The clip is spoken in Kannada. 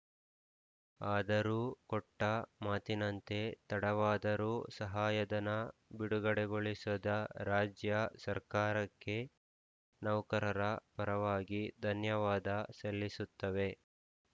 ಆದರೂ ಕೊಟ್ಟಮಾತಿನಂತೆ ತಡವಾದರೂ ಸಹಾಯಧನ ಬಿಡುಗಡೆಗೊಳಿಸಸ ದ ರಾಜ್ಯ ಸರ್ಕಾರಕ್ಕೆ ನೌಕರರ ಪರವಾಗಿ ಧನ್ಯವಾದ ಸಲ್ಲಿಸುತ್ತವೆ